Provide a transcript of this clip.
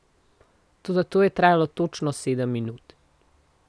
Toda to je trajalo točno sedem minut.